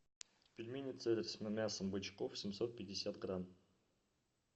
пельмени цезарь с мясом бычков семьсот пятьдесят грамм